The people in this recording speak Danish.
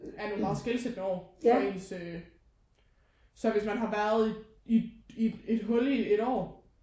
Er nogen meget skelsættende år for ens øh så hvis man har været i i et hul i et år